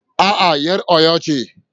A'a, 'yar Oyo ce